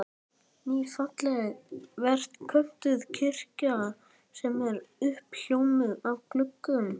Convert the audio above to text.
Ný, falleg ferköntuð kirkja sem er uppljómuð af gluggum